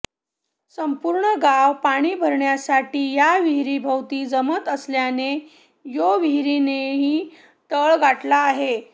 संपूर्ण गाव पाणी भरण्यासाठी या विहिरीभोवती जमत असल्याने यो विहिरीनेही तळ गाठला आहे